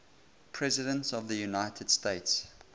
presidents of the united states